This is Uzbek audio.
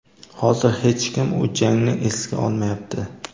Hozir hech kim u jangni esga olmayapti.